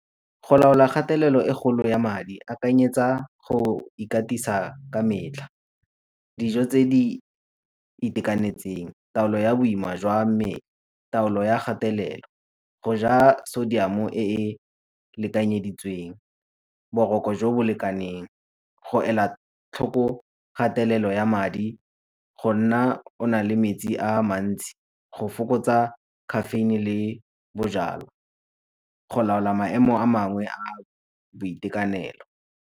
Go laola gatelelo e kgolo ya madi, akanyetsa go go ikatisa ka metlha, dijo tse di itekanetseng, taolo ya boima jwa mmele, taolo ya gatelelo, go ja sodium-o e e lekanyeditsweng, boroko jo bo lekaneng, go ela tlhoko kgatelelo ya madi, go nna o na le metsi a a mantsi, go fokotsa caffeine le bojalwa, go laola maemo a mangwe a boitekanelo.